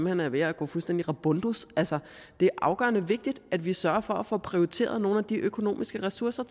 hen er ved at gå fuldstændig rabundus altså det er afgørende vigtigt at vi sørger for at få prioriteret nogle af de økonomiske ressourcer